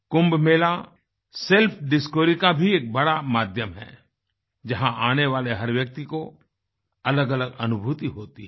कुंभ Mela self discoveryका भी एक बड़ा माध्यम है जहाँ आने वाले हर व्यक्ति को अलगअलग अनुभूति होती है